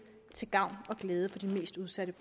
til gavn og glæde for de mest udsatte